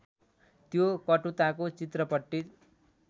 त्यो कटुताको चित्रपट्टि